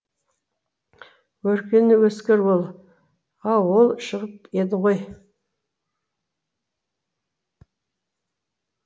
өркені өскір ол ау ол шығып еді ғой